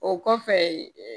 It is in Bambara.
O kɔfɛ